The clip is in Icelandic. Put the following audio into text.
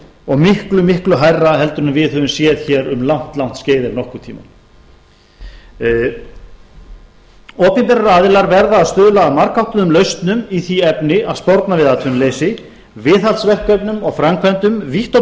og miklu miklu hærra heldur en við höfum séð hér um langt langt skeið ef nokkurn tímann opinberir aðilar verða að stuðla að margháttuðum lausnum í því efni að sporna við atvinnuleysi viðhaldsverkefnum og framkvæmdum vítt og